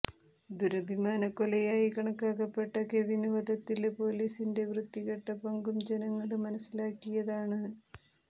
ദുരഭിമാനക്കൊലയായി കണക്കാക്കപ്പെട്ട കെവിന് വധത്തില് പൊലീസിന്റെ വൃത്തികെട്ട പങ്കും ജനങ്ങള് മനസിലാക്കിയതാണ്